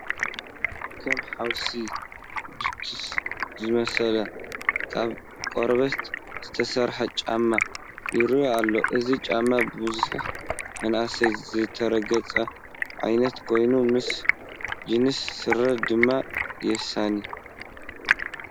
ከም ሓውሲ ቡትስ ዝመስል ካብ ቆርበት ዝተሰርሐ ጫማ ይርአ ኣሎ፡፡ እዚ ጫማ ብብዝሒ መናእሰይ ዝረግፅዎ ዓይነት ኮይኑ ምስ ጅንስ ስረ ድማ የሳኒ፡፡